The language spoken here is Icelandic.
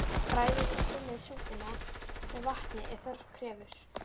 Bragðið og þynnið súpuna með vatni ef þörf krefur.